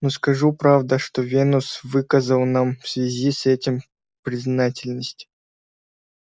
но скажу правда что венус выказал нам в связи с этим признательность